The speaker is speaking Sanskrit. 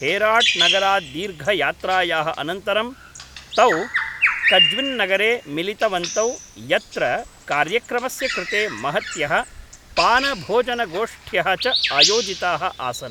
हेराट्नगरात् दीर्घयात्रायाः अनन्तरं, तौ कज्विन्नगरे मिलितवन्तौ यत्र कार्यक्रमस्य कृते महत्यः पानभोजनगोष्ठ्यः च आयोजिताः आसन्।